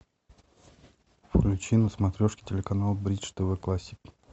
включи на смотрешке телеканал бридж тв классик